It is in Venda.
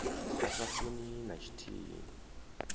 a sa funi na tshithihi